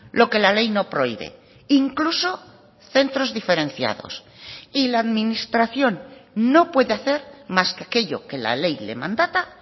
lo que la ley no prohíbe incluso centros diferenciados y la administración no puede hacer más que aquello que la ley le mandata